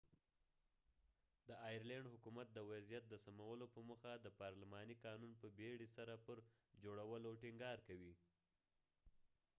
د آیرلینډ حکومت د وضعیت د سمولو په موخه د پارلماني قانون په بیړې سره پر جوړولو ټینګار کوي